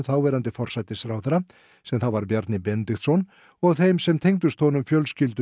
þáverandi forsætisráðherra sem þá var Bjarni Benediktsson og þeim sem tengdust honum fjölskyldu